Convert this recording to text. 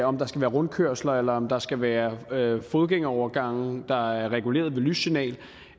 om der skal være rundkørsler eller om der skal være fodgængerovergange der er reguleret ved lyssignal